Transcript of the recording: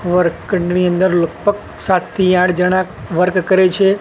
અંદર લગભગ સાત થી આઠ જણા વર્ક કરે છે.